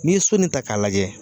N'i ye so ni ta k'a lajɛ